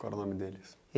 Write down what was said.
Qual o nome deles?